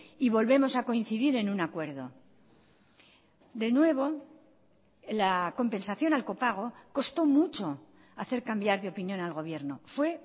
y volvemos a coincidir en un acuerdo de nuevo la compensación al copago costó mucho hacer cambiar de opinión al gobierno fue